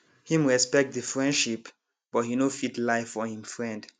him respect the friendship but he no fit lie for him friend